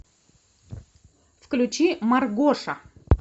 включи маргоша